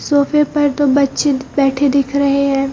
सोफे पर दो बच्चे बैठे दिख रहे हैं।